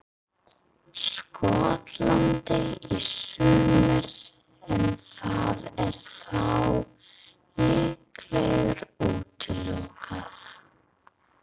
Skotlandi í sumar en það er þá líklega útilokað.